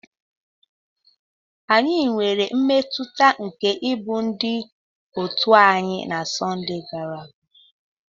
Anyị nwere mmetụta nke ịbụ ndị òtù anyị na Sunday gara aga.